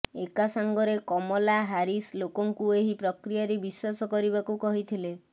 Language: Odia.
ଏକାସାଙ୍ଗରେ କମଲା ହାରିସ୍ ଲୋକଙ୍କୁ ଏହି ପ୍ରକ୍ରିୟାରେ ବିଶ୍ୱାସ କରିବାକୁ କହିଥିଲେ